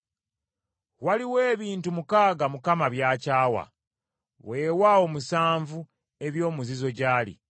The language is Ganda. Waliwo ebintu mukaaga Mukama by’akyawa, weewaawo musanvu eby’omuzizo gy’ali.